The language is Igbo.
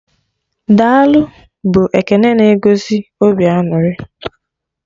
"Daalụ" bụ ekene na egosi obi aṅụrị